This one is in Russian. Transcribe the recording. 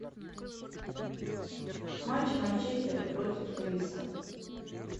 матч манчестера против ирисок